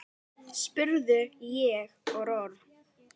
spurði ég órór.